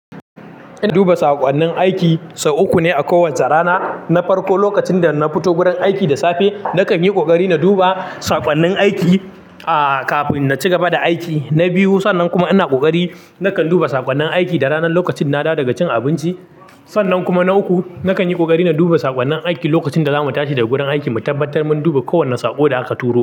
Ina duba saƙonnin aiki sau uku ne a kowace rana. Na farko, lokacin da na fito gurin aiki da safe, nakan yi ƙoƙari na duba saƙonnin aiki, aa, kafin na ci gaba da aiki. Na biyu, sannan kuma ina ƙoƙari nakan duba saƙonnin aiki da ranar lokacin na dawo daga cin abinci. Sannan kuma na uku, nakan yi ƙoƙari na duba saƙonnin aiki lokacin da za mu tashi daga gurin aiki, mu tabbatar mun duba kowane saƙo da aka turo.